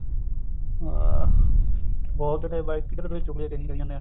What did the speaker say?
ਹਾਂ ਬਹੁਤ ਤੇ ਭਾਈ ਇੱਕ ਦੂਜੇ ਦੀ ਚੁਗਲੀਆਂ ਕਰੀ ਓ ਜਾਨੇ ਆ